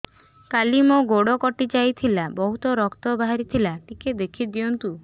କାଲି ମୋ ଗୋଡ଼ କଟି ଯାଇଥିଲା ବହୁତ ରକ୍ତ ବାହାରି ଥିଲା ଟିକେ ଦେଖି ଦିଅନ୍ତୁ